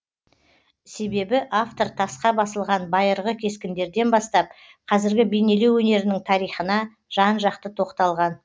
себебі автор тасқа басылған байырғы кескіндерден бастап қазіргі бейнелеу өнерінің тарихына жан жақты тоқталған